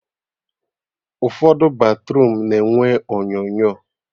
Ụfọdụ batruum na-enwe onyonyo